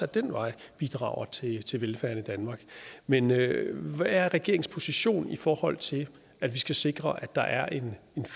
den vej bidrager til til velfærden i danmark men hvad er regeringens position i forhold til at vi skal sikre at der er en